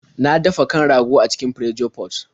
Na dafa kan rago a cikin Pressure pot.